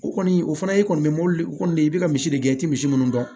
O kɔni o fana i kɔni bɛ mobili kɔni i bɛ ka misi de gɛn i tɛ misi munnu dɔn